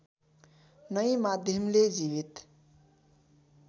नै माध्यमले जीवित